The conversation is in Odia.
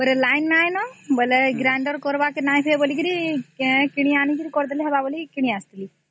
ବୋଲେ ଲାଇନ ନାଇଁ ନ ବୋଲେ grinder କରିବରେ ନାଇଁ ହୁଏ ତା କିଣି ଆଣି କରି କରିଦେବା ବୋଲି କିଣି ଆସିଥିଲି - ହୁଁ